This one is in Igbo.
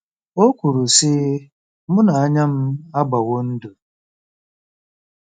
O kwuru, sị: “ Mụ na anya m agbawo ndụ.